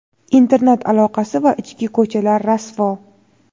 Internet aloqasi va ichki ko‘chalar rasvo.